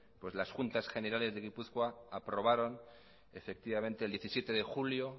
pues las juntas generales de gipuzkoa aprobaron efectivamente el diecisiete de julio